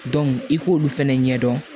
i k'olu fɛnɛ ɲɛdɔn